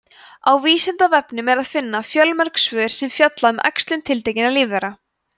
á vísindavefnum er að finna fjölmörg svör sem fjalla um æxlun tiltekinna lífvera